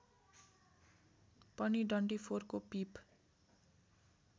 पनि डन्डीफोरको पिप